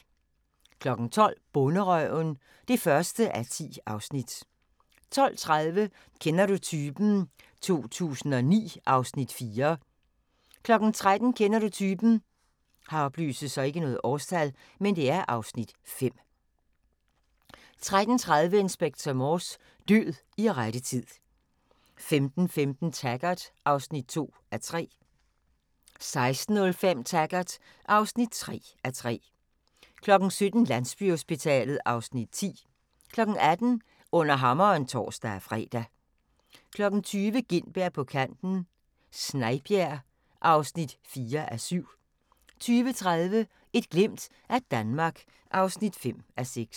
12:00: Bonderøven (1:10) 12:30: Kender du typen? 2009 (Afs. 4) 13:00: Kender du typen? (Afs. 5) 13:30: Inspector Morse: Død i rette tid 15:15: Taggart (2:3) 16:05: Taggart (3:3) 17:00: Landsbyhospitalet (Afs. 10) 18:00: Under Hammeren (tor-fre) 20:00: Gintberg på kanten - Snejbjerg (4:7) 20:30: Et glimt af Danmark (5:6)